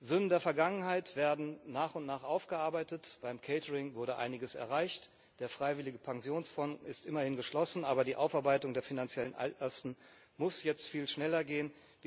Sünden der Vergangenheit werden nach und nach aufgearbeitet, beim Catering wurde einiges erreicht, der freiwillige Pensionsfond ist immerhin geschlossen, aber die Aufarbeitung der finanziellen Altlasten muss jetzt viel schneller gehen.